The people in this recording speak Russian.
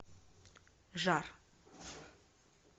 жар